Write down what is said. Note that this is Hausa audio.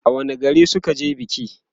a wani gari suka je biki?